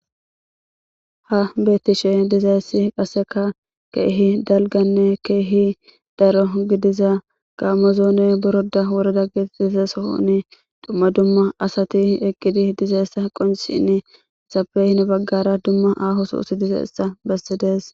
Ha beetishe dizayssi qassrkka keehi dalganne keehi daro gidiza gaamo zoone boroda woreda getetiza sohon dumma dumma asati eqqidi dizayssa qincccishin izappe gede baggara aaho sohozi dizayssa beesishe dees.